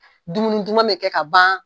Dumuni duman bɛ kɛ ka ban.